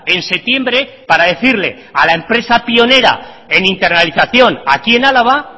en septiembre para decirle a la empresa pionera en internalización aquí en álava